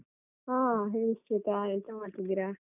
ಹಾ ಹೇಳಿ ಶ್ವೇತಾ, ಎಂತ ಮಾಡ್ತಿದಿರಾ?